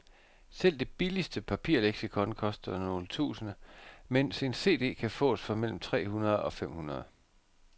Selv det billigste papirleksikon koster nogle tusinde, mens en cd kan fås for mellem tre hundrede og fem hundrede.